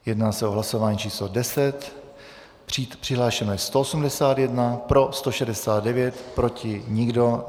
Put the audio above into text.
Jedná se o hlasování číslo 10, přihlášeno je 181, pro 169, proti nikdo.